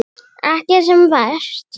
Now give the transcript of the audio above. Ekki sem verst.